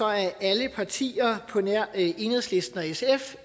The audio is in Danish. er alle partier på nær enhedslisten og sf